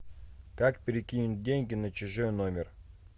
как перекинуть деньги на чужой номер